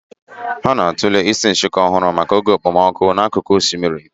Ha na-atụle isi nshịkọ ọhụrụ maka oge okpomọkụ n'akụkụ osimiri